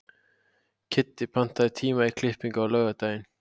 Kiddi, pantaðu tíma í klippingu á laugardaginn.